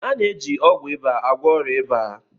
A na-eji ọgwụ ịba agwọ ọrịa ịba.